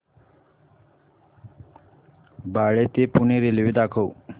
बाळे ते पुणे रेल्वे दाखव